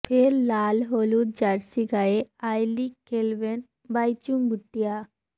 ফের লাল হলুদ জার্সি গায়ে আই লিগ খেলবেন বাইচুং ভুটিয়া